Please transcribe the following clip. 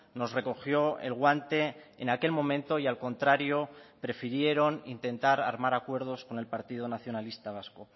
nos recogió el guante en aquel momento y al contrario prefirieron intentar armar acuerdos con el partido nacionalista vasco